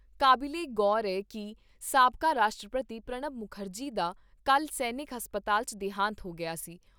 ਕਾਬਿਲੇ ਗੌਰ ਐ ਕਿ ਸਾਬਕਾ ਰਾਸ਼ਟਰਪਤੀ ਪ੍ਰਣਬ ਮੁਖਰਜੀ ਦਾ ਕੱਲ੍ਹ ਸੈਨਿਕ ਹਸਪਤਾਲ 'ਚ ਦੇਹਾਂਤ ਹੋ ਗਿਆ ਸੀ।